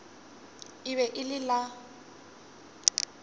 e be e le la